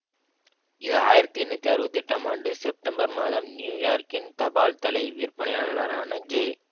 இது ஆயிரத்தி எண்ணூற்றி அறுபத்தி எட்டு ஆம் ஆண்டு செப்டெம்பர் மாதம் நியூ யார்க்கின் தபால்தலை விற்பனையாளரான ஜே